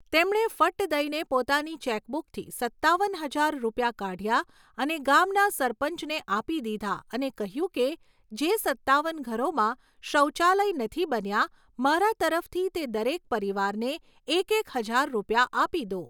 તેમણે ફટ્ટ દઇને પોતાની ચેકબૂકથી સત્તાવન હજાર રૂપિયા કાઢ્યા અને ગામના સરપંચને આપી દીધા અને કહ્યું કે, જે સત્તાવન ઘરોમાં શૌચાલય નથી બન્યા, મારા તરફથી તે દરેક પરિવારને એક એક હજાર રૂપિયા આપી દો.